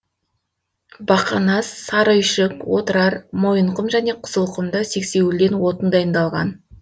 бақанас сары үйшік отырар мойынқұм және қызылқұмда сексеуілден отын дайындалған